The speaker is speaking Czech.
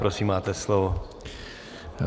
Prosím, máte slovo.